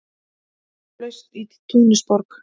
Upplausn í Túnisborg